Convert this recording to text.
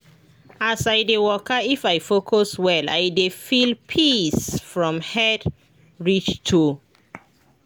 as i dey waka if i focus well i dey feel peace from head reach toe.